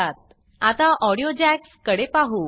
आता ऑडियो jacksऑडियो जॅक्स कडे पाहु